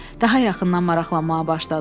Daha yaxından maraqlanmağa başladılar.